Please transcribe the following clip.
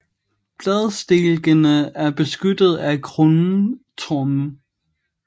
Bladstilkene er beskyttet af krumme torne